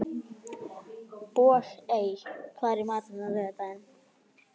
Bogey, hvað er í matinn á laugardaginn?